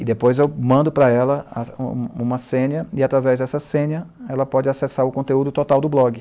E depois eu mando para ela a a uma senha, e através dessa senha ela pode acessar o conteúdo total do blog.